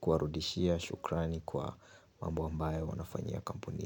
kuwarudishia shukrani kwa mambo ambayo wanafanyia kampuni.